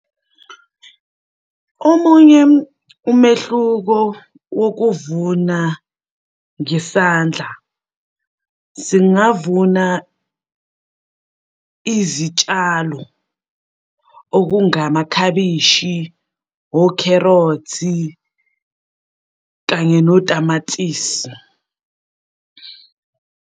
Omunye umehluko wokuvuna ngesandla, singavuna izitshalo okungama khabishi, okherothi, kanye notamatisi.